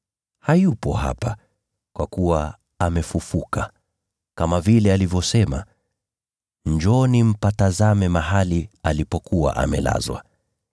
Hayupo hapa, kwa kuwa amefufuka, kama vile alivyosema. Njooni mpatazame mahali alipokuwa amelazwa.